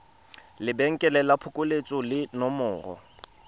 lebenkele la phokoletso le nomoro